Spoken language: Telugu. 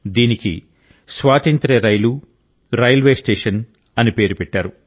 దీనికి స్వాతంత్ర్య రైలు రైల్వే స్టేషన్ అని పేరు పెట్టారు